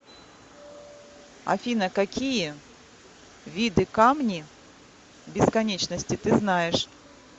афина какие виды камни бесконечности ты знаешь